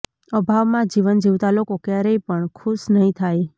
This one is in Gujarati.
અભાવમાં જીવન જીવતા લોકો ક્યારે પણ ખુશ નહીં થાય